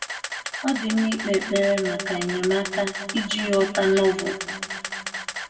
Ọ dị mma ikpe ekpere maka enyemaka iji ghọta Novel